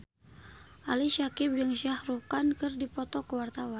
Ali Syakieb jeung Shah Rukh Khan keur dipoto ku wartawan